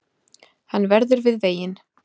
Hann verður við veginn